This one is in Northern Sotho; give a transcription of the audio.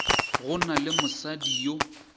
go na le mosadi yo